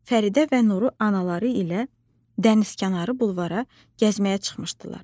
Fəridə və Nuru anaları ilə dənizkənarı bulvara gəzməyə çıxmışdılar.